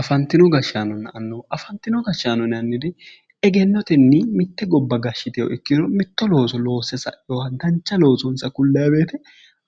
Afanitino gashaanonna annuwa afanino gashaano yinanniri egenotenni mitte gobba gashitewo ikkiro mitto looso loose saewo dancha loosonisa kulay woyite